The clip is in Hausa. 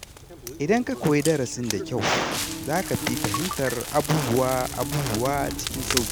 Idan ka koyi darasin da kyau, za ka fi fahimtar abubuwa cikin sauƙi.